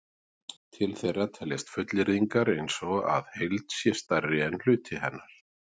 til þeirra teljast fullyrðingar eins og að heild sé stærri en hluti hennar